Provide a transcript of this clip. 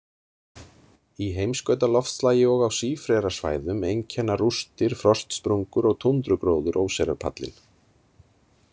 Í heimskautaloftslagi og á sífrerasvæðum einkenna rústir, frostsprungur og túndrugróður óseyrarpallinn.